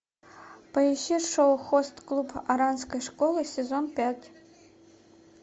поищи шоу хост клуб оранской школы сезон пять